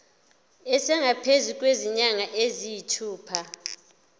esingaphezu kwezinyanga eziyisithupha